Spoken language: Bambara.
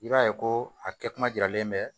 I b'a ye ko a kɛ kuma jiralen bɛ